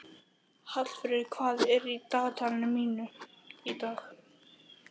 Hallfríður, hvað er í dagatalinu mínu í dag?